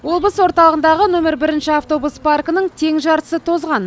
облыс орталығындағы нөмірі бірінші автобус паркінің тең жартысы тозған